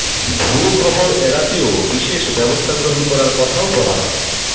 ভুয়ো খবর এড়াতেও বিশেষ ব্যবস্থা গ্রহণ করার কথাও বলা হয়